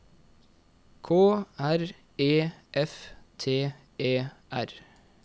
K R E F T E R